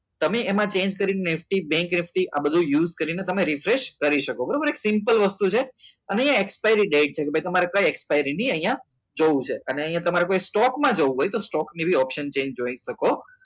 તમને એમાં change કરી બેન્ક FD આ બધું use કરીને તમે refresh કરી શકો બરાબર simple વસ્તુ છે અને અહીંયા expired date છે કે ભાઈ તમારે કઈ expired ની અહીંયા જ જોવું છે અને અને અહીંયા તમારે કોઈ સ્ટોકમાં જવું હોય તો સ્ટોક જેવી આવશે જોઈ શકો